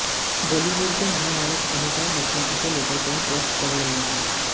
बॉलीवुड के महानायक अमिताभ बच्चन इसे लेकर कई पोस्ट कर रहे हैं